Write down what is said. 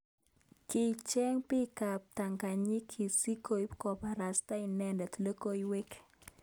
Kicheng bik ab ptanganyinik sikobit kobarasta inendet logoiywek.